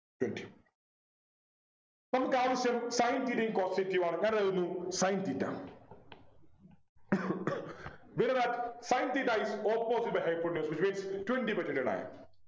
twenty നമുക്കാവശ്യം Sin theta യും cos theta യും ആണ് ഞാൻ എഴുതുന്നു Sin theta We know that sin theta is opposite by hypotenuse which means twenty by twenty nine